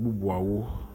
bubuawo.